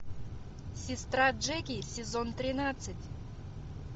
сестра джеки сезон тринадцать